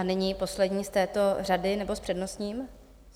A nyní poslední z této řady, nebo s přednostním?